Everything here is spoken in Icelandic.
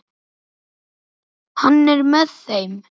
Hann er með þeim.